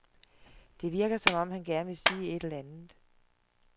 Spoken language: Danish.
Det virker som om han gerne vil sige et eller andet.